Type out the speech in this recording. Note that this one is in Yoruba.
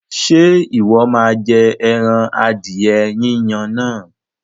Ṣé Ìwọ́ má jẹ ẹran adìẹ Yínyin náà?